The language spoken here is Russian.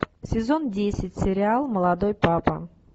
сезон десять сериал молодой папа